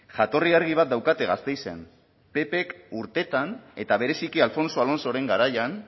jatorri argi bat daukate gasteizen ppk urteetan eta bereziki alfonso alonsoren garaian